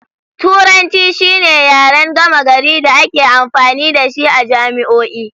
Turanci shine yaren gama gari da ake amfani da shi a jami'o'i.